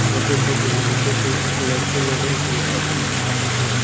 छोटे छोटे लड़के को लड़के लोंगो को अरबी पढ़ा रहे हैं।